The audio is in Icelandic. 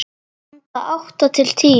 Handa átta til tíu